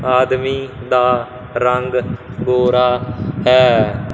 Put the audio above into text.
ਆਦਮੀ ਦਾ ਰੰਗ ਗੋਰਾ ਹੈ।